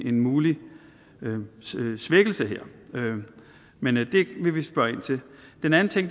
en mulig svækkelse her men det vil vi spørge ind til den anden ting